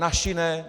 Naši ne.